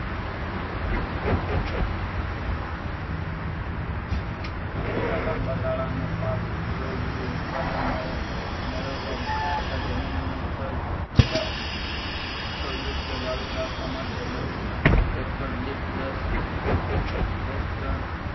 દિવેલા લાંબાગાળાનો પાક વય વધુ ઉત્પાદન મળે મેળવવા તથા જમીનની ફળદ્રુપતા ફળદ્રૂપતા જાળવી રકવા માટે એક્ટર દીઠ દસ દસ ટન